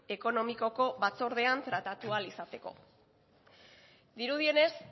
ekonomikoko batzordean tratatu ahal izateko dirudienez